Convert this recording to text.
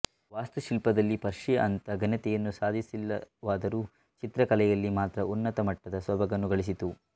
ವಾಸ್ತು ಶಿಲ್ಪದಲ್ಲಿ ಪರ್ಷಿಯ ಅಂಥ ಘನತೆಯನ್ನು ಸಾಧಿಸಲಿಲ್ಲವಾದರೂ ಚಿತ್ರ ಕಲೆಯಲ್ಲಿ ಮಾತ್ರ ಉನ್ನತಮಟ್ಟದ ಸೊಬಗನ್ನು ಗಳಿಸಿತು